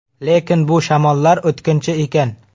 Lekin bu shamollar o‘tkinchi ekan.